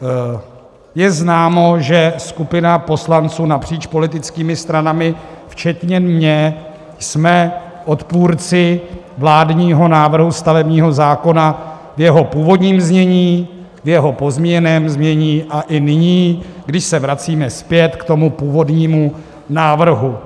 Je známo, že skupina poslanců napříč politickými stranami včetně mě jsme odpůrci vládního návrhu stavebního zákona v jeho původním znění, v jeho pozměněném znění a i nyní, kdy se vracíme zpět k tomu původnímu návrhu.